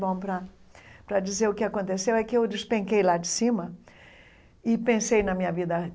Bom, para para dizer o que aconteceu é que eu despenquei lá de cima e pensei na minha vida.